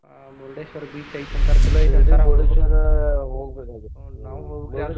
ಹ್ಮ್ Murdeshwar beach ಐತಿ ಅಂತಾರ ಚೊಲೋ ಐತಿ ಅಂತಾರ ಹೂನ್ರೀ ನಾವು ಹೋಗ್ಬೇಕ .